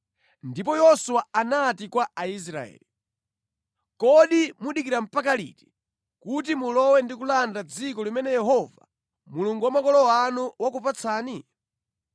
Ndipo Yoswa anati kwa Aisraeli, “Kodi mudikira mpaka liti kuti mulowe ndi kulanda dziko limene Yehova Mulungu wa makolo anu wakupatsani?